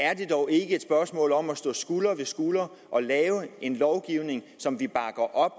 er det dog ikke et spørgsmål om at stå skulder ved skulder og lave en lovgivning som vi bakker op